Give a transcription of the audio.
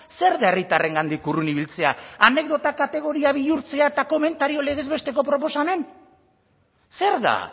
zer da herritarrengandik urrun ibiltzea anekdota kategoria bihurtzea eta komentario legez besteko proposamen zer da